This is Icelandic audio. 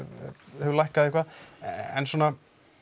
hefur lækkað eitthvað en svona